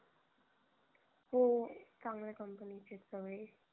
हो चांगल्या company चेच हवे